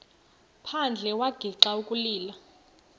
phandle wagixa ukulila